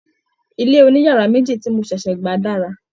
ilé oniyara meji ti mo ṣẹṣẹ gba dára.